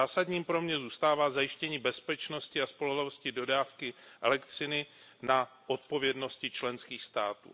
Zásadním pro mne zůstává zajištění bezpečnosti a spolehlivosti dodávky elektřiny na odpovědnosti členských států.